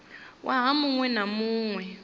waha mu ṅ we na